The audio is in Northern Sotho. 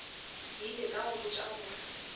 ile ka go botša gore